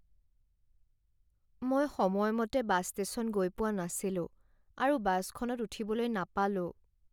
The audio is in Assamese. মই সময়মতে বাছ ষ্টেচন গৈ পোৱা নাছিলো আৰু বাছখনত উঠিবলৈ নাপালোঁ।